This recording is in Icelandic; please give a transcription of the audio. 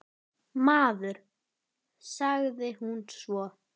Maður, sagði hún svo.